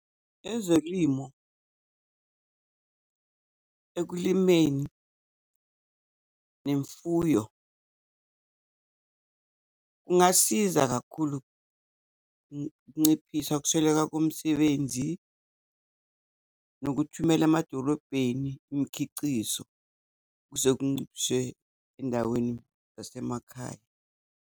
Ezolimo ekulimeni nemfuyo kungasiza kakhulu ukunciphisa ukusweleka komsebenzi, nokuthumela emadolobheni imikhicizo kuze endaweni zasemakhaya.